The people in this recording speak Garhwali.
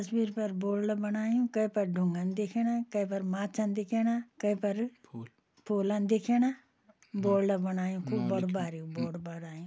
तस्वीर पर बोर्ड बणायु कै पर डुंगान दिखेणा कै पर माच्छान दिखेणा कै पर फूलन दिखेणा बोर्ड बणायु खूब बड़ु बारिकु बोर्ड बणायु।